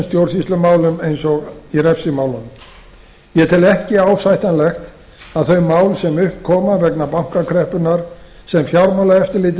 stjórnsýslumálum eins og í refsimálunum ég tel ekki ásættanlegt að þau mál sem upp koma vegna bankakreppunnar og fjármálaeftirlitið